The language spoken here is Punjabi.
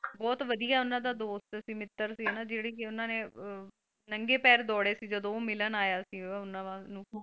ਬਹੁਤ ਵਧਿਆ ਉਹਨਾਂ ਦਾ ਦੋਸਤ ਸੀ, ਮਿੱਤਰ ਸੀ ਹਨਾ ਜਿਹੜੀ ਉਹਨਾਂ ਨੇ ਅਹ ਨੰਗੇ ਪੈਰ ਦੌੜੇ ਸੀ ਜਦੋਂ ਉਹ ਮਿਲਨ ਆਇਆ ਸੀ ਉਹਨਾਂ ਨੂੰ।